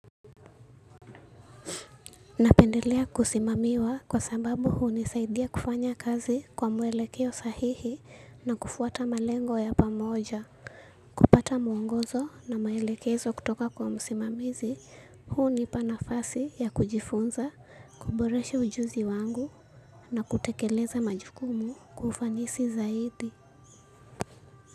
Napendelea kusimamiwa kwa sababu huu nisaidia kufanya kazi kwa muwelekeo sahihi na kufuata malengo ya pamoja, kupata mwongozo na maelekezo kutoka kwa musimamizi hunipa nafasi ya kujifunza, kuboreshe ujuzi wangu na kutekeleza majukumu kwa ufanisi zaidi.